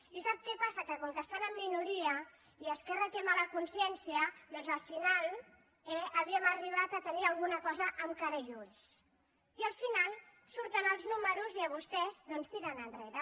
i sap què passa que com que estan en minoria i esquerra té mala consciència doncs al final eh havíem arribat a tenir alguna cosa amb cara i ulls i al final surten els números i vostès doncs tiren enrere